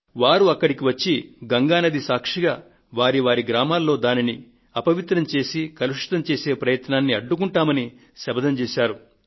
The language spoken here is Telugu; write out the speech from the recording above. వారు అక్కడికి వచ్చి గంగా నది సాక్షిగా వారి వారి గ్రామాల్లో దానిని అపవిత్రం చేసి కలుషితం చేసే ప్రయత్నాన్ని అడ్డుకుంటామని శపథం చేశారు